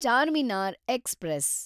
Charminar express